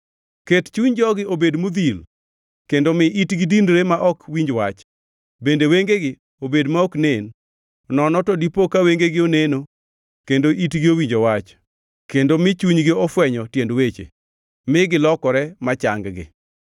Ket chuny jogi obed modhil, kendo mi itgi dinre ma ok winj wach, bende wengegi obed ma ok nen. Nono to dipo ka wengegi oneno, kendo itgi owinjo wach, kendo mi chunygi ofwenyo tiend weche, mi gilokre ma chang-gi.”